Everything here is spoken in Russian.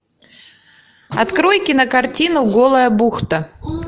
открой кинокартину голая бухта